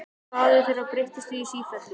Hraði þeirra breytist því í sífellu.